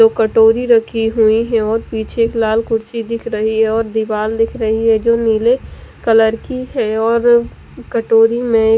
दो कटोरी रखी हुई हैं और पीछे एक लाल कुर्सी दिख रही है और दीवाल दिख रही है जो नीले कलर की है और कटोरी में एक--